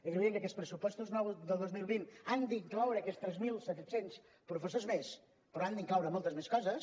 és evident que aquests pressupostos nous del dos mil vint han d’incloure aquests tres mil set cents professors més però han d’incloure moltes més coses